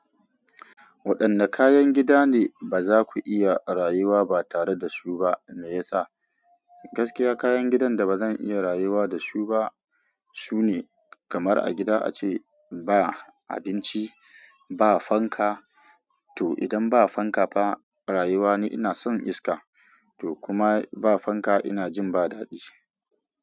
Waɗanne kayan gida ne ba za ku iya rayuwa ba tare da su ba? Me yasa? Gaskiya kayan gidan da bazan iya rayuwa da su ba sune, kamar a gida ace ba abinci, ba fanka to idan ba fanka fa rayuwa ni ina son iska to kuma ba fanka ina jin ba dadi.